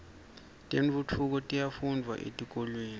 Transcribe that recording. tentfutfuko tiyafundvwa etikolweni